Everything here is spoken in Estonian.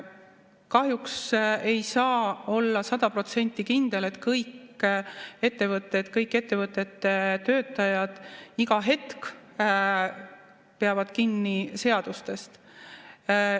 Kahjuks ei saa olla sada protsenti kindel, et kõik ettevõtted, kõik ettevõtete töötajad iga hetk peavad kinni seadustest.